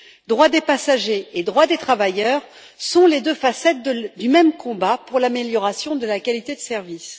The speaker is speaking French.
Droits des passagers et droits des travailleurs sont les deux facettes du même combat pour l'amélioration de la qualité de service.